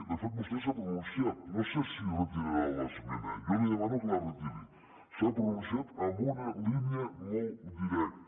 de fet vostè s’ha pronunciat no sé si retirarà l’esmena jo li demano que la retiri s’ha pronunciat en una línia molt directa